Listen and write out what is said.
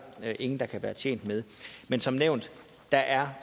ingen der kan være tjent med men som nævnt er